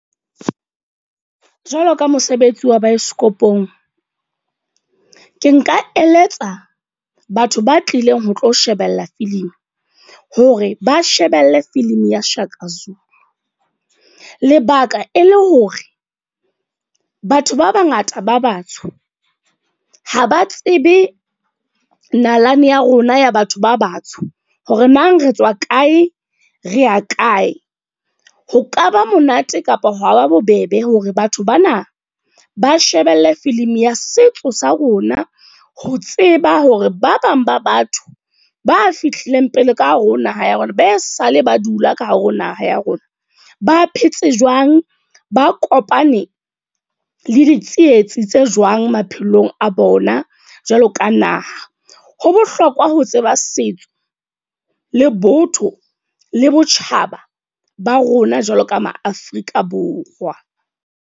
Jwalo ka mosebetsi wa baesekopong. Ke nka eletsa batho ba tlileng ho tlo shebella filimi. Hore ba shebelle filimi ya Shaka Zulu. Lebaka e le hore, batho ba bangata ba batsho ha ba tsebe nalane ya rona ya batho ba batsho. Hore na re tswa kae, re ya kae. Ho kaba monate kapa hwa ba bobebe hore batho bana ng ba shebelle filimi ya setso sa rona. Ho tseba hore ba bang ba batho ba fihlileng pele ka hare ho naha ya rona. Behe sa le ba dula ka hare ho naha ya rona. Ba phetse jwang, ba kopane le ditsietsi tse jwang maphelong a bona, jwalo ka naha. Ho bohlokwa ho tseba setso le botho le botjhaba ba rona jwalo ka ma Afrika Borwa.